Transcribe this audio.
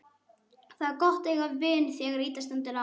Það er gott að eiga vin þegar illa stendur á.